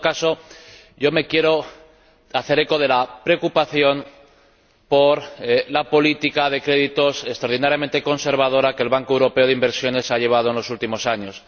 En todo caso, yo me quiero hacer eco de la preocupación por la política de créditos extraordinariamente conservadora que el Banco Europeo de Inversiones ha llevado en los últimos años.